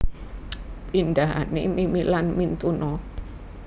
Pindhane mimi lan mintuna